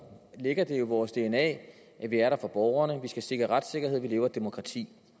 ligger det jo i vores dna at vi er der for borgerne at vi skal sikre retssikkerhed at vi lever i et demokrati